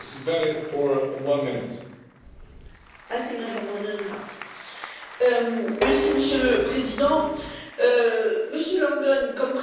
Monsieur le Président, Monsieur Langen, comme président de la commission PANA, vous avez été un excellent président et vous venez d'en faire la démonstration.